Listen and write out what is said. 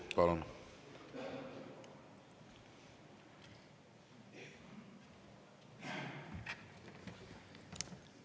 Palun!